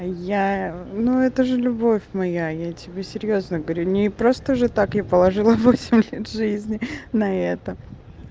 а я ну это же любовь моя я тебе серьёзно говорю не просто же так и положила восемь лет жизни на это